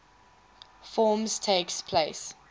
forms takes place